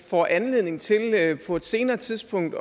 får anledning til på et senere tidspunkt